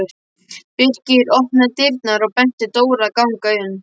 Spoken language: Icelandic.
Birkir opnaði dyrnar og benti Dóru að ganga inn.